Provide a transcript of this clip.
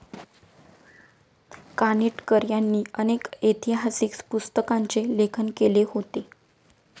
कानिटकर यांनी अनेक ऐतिहासिक पुस्तकांचे लेखन केले होते.